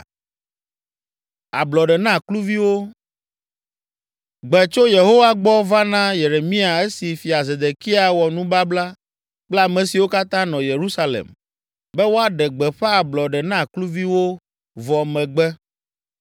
Gbe tso Yehowa gbɔ va na Yeremia esi fia Zedekia wɔ nubabla kple ame siwo katã nɔ Yerusalem, be woaɖe gbeƒã ablɔɖe na kluviwo vɔ megbe.